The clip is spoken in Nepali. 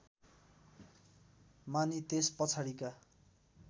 मानी त्यस पछाडिका